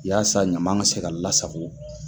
Yasa ɲama ka se ka lasago.